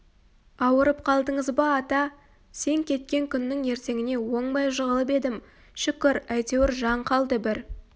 ауырып қалдыңыз ба ата сен кеткен күннің ертеңіне оңбай жығылып едім шүкір әйтеуір жан қалды бір